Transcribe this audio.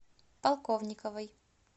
полковниковой